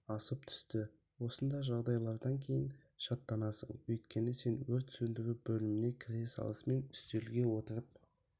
асып түсті осындай жағдайлардан кейін шаттансың өйткені сен өрт сөндірі бөліміне кіре салысымен үстелге отырып